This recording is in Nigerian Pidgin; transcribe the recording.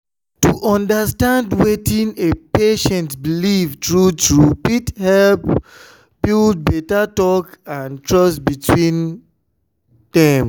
to understand wetin a patient believe true true fit help help build better talk and trust between dem.